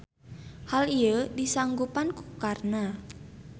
Hal ieu disanggupan ku Karna.